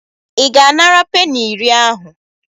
Ị ga-anara peni iri ahụ?